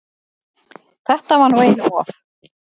Þetta var nú einum of!